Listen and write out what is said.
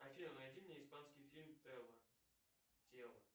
афина найди мне испанский фильм тэло тело